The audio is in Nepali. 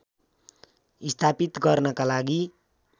स्थापित गर्नका लागि